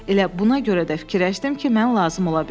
Elə buna görə də fikirləşdim ki, mən lazım ola bilərəm.